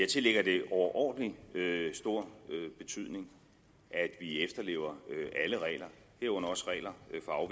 tillægger det overordentlig stor betydning at vi efterlever alle regler herunder også regler